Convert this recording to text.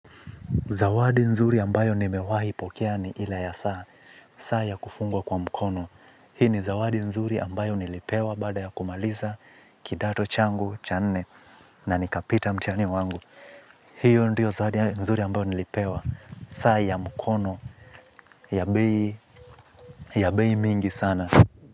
Zawadi nzuri ambayo nimewai pokea ni ile ya saa, saa ya kufungwa kwa mkono. Hii ni zawadi nzuri ambayo nilipewa baada ya kumaliza kidato changu, cha nne, na nikapita mtihani wangu. Hiyo ndiyo zawadi nzuri ambayo nilipewa, saa ya mkono, ya bei ya beyi mingi sana.